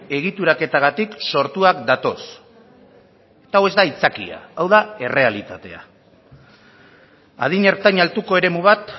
egituraketagatik sortuak datoz eta hau ez da aitzakia hau da errealitatea adin ertain altuko eremu bat